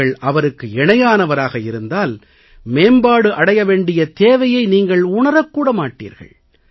நீங்கள் அவருக்கு இணையானவராக இருந்தால் மேம்பாடு அடைய வேண்டிய தேவையை நீங்கள் உணரக் கூட மாட்டீர்கள்